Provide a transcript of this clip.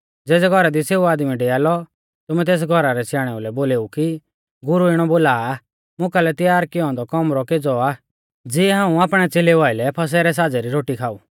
ज़ेज़ै घौरा दी सेऊ आदमी डैआ लौ तुमै तेस घौरा रै स्याणै लै बोलेऊ कि गुरु इणौ बोला आ मुकालै तैयार कियौ औन्दौ कौमरौ केज़ौ आ ज़िऐ हाऊं आपणै च़ेलेउ आइलै फसह रै साज़ै री रोटी खाऊ